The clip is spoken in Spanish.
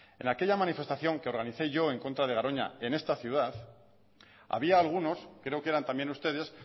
en aquella manifestación que organicé yo en contra de garoña en esta ciudad había algunos creo que eran también ustedes